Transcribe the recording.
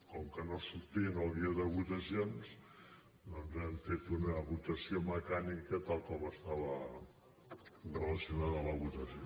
com que no sortia en el guió de votacions doncs hem fet una votació mecànica tal com estava relacionada la votació